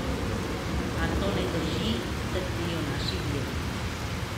A to ne drži, trdijo naši viri.